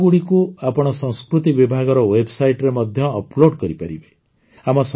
ଏହି ଫଟୋଗୁଡ଼ିକୁ ଆପଣ ସଂସ୍କୃତି ବିଭାଗର ୱେବସାଇଟରେ ମଧ୍ୟ ଅପଲୋଡ଼ କରିପାରିବେ